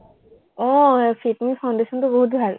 আহ সেই fit me foundation টো বহু ভাল।